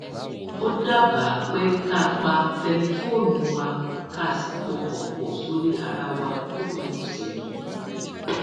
ó dábàá pé ká pa tẹlifóònù wa ká sì pọkàn pò sórí ara wa lópin òsè yìí